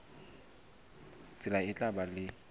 tsela e tla ba le